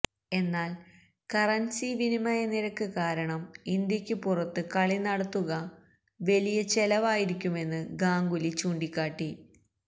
എന്നാല് കറന്സി വിനിമയ നിരക്ക് കാരണം ഇന്ത്യക്കു പുറത്ത് കളി നടത്തുക വലിയ ചെലവായിരിക്കുമെന്ന് ഗാംഗുലി ചൂണ്ടിക്കാട്ടി